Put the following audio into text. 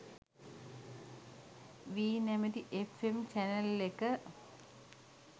වී නැමැති F M channel එක.